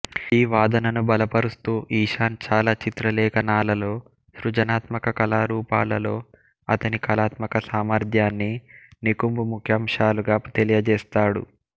ఈ వాదనను బలపరుస్తూ ఇషాన్ చాలా చిత్రలేఖనాలలో సృజనాత్మక కళారూపాలలో అతని కళాత్మక సామర్ధ్యాన్ని నికుంబ్ ముఖ్యాంశాలుగా తెలియజేస్తాడు